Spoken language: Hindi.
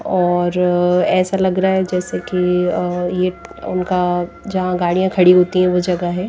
और ऐसा लग रहा है जैसे कि और ये उनका जहां गाड़ियां खड़ी होती है वो जगह है